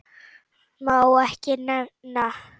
Má ekki nefna